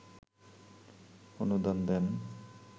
অনুদান দেন